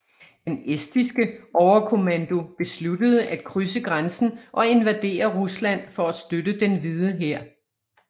Den estiske overkommando besluttede at krydse grænsen og invadere Rusland for at støtte Den Hvide Hær